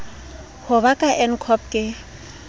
ho ba ka ncop ke